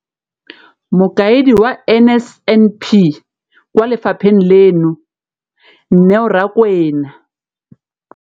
Mokaedi wa NSNP kwa lefapheng leno, Neo Rakwena,